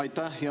Aitäh!